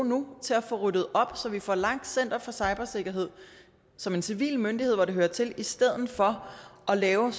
nu til at få ryddet op så vi får lagt center for cybersikkerhed som en civil myndighed hvor det hører til i stedet for at lave